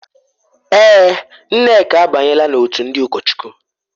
Èè,, Nneka abanyela n'òtù ndị ụkọchukwu.